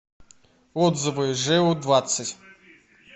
отзывы жэу двадцать